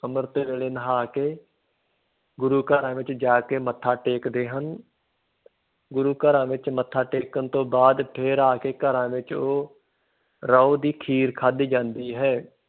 ਅੰਮ੍ਰਿਤ ਵੇਲੇ ਨਹਾ ਕੇ ਗੁਰੂ ਘਰਾਂ ਵਿੱਚ ਜਾ ਕੇ ਮੱਥਾ ਟੇਕਦੇ ਹਨ ਗੁਰੂ ਘਰਾਂ ਵਿੱਚ ਮੱਥਾ ਟੇਕਣ ਤੋਂ ਬਾਅਦ ਫਿਰ ਆ ਕੇ ਘਰਾਂ ਵਿੱਚ ਉਹ ਰੋਹ ਦੀ ਖੀਰ ਖਾਧੀ ਜਾਂਦੀ ਹੈ।